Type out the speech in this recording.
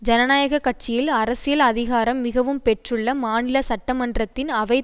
ஜனநாயக கட்சியில் அரசியல் அதிகாரம் மிகவும் பெற்றுள்ள மாநில சட்டமன்றத்தின் அவை